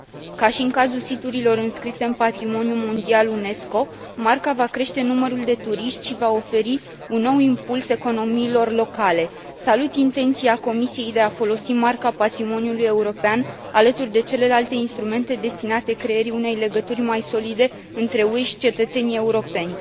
Ca și în cazul siturilor înscrise în patrimoniul mondial UNESCO, Marca va crește numărul de turiști și va oferi un nou impuls economiilor locale. Salut intenția Comisiei de a folosi Marca patrimoniului european alături de celelalte instrumente destinate creării unei legături mai solide între UE și cetățenii europeni.